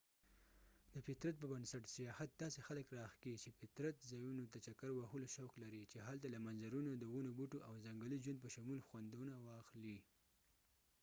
د فطرت په بنسټ سیاحت داسې خلک راښکي چې فطري ځایونو ته چکر وهلو شوق لري چې هلته له منظرونو د ونوبوټو او ځنګلي ژوند په شمول خوندونه واخلي